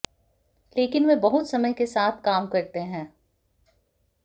लेकिन वे बहुत समय के साथ काम करते हैं